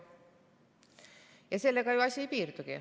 Aga sellega ju asi ei piirdu.